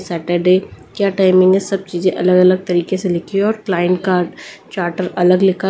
Saturday क्या timing है सब चीजें अलग-अलग तरीके से लिखी है और क्लाइंट कार्ड चार्टर अलग लिखा है।